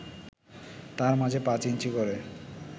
তার মাঝে পাঁচ ইঞ্চি করে